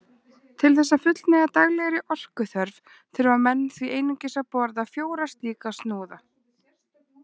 Til þess að fullnægja daglegri orkuþörf þurfa menn því einungis að borða fjóra slíka snúða.